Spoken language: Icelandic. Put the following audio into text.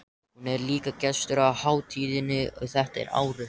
Hún er líka gestur á hátíðinni þetta árið.